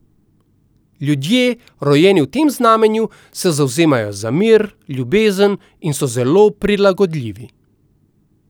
Ljudje, rojeni v tem znamenju, se zavzemajo za mir, ljubezen in so zelo prilagodljivi.